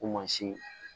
Ko mansin